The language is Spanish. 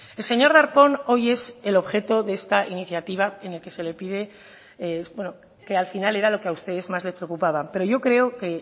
el señor darpón hoy es el objeto de esta iniciativa en el que se le pide bueno que al final era lo que a ustedes más les preocupaba pero yo creo que el